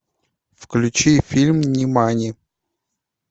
включи фильм нимани